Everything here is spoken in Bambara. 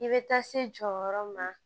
I bɛ taa se jɔyɔrɔ ma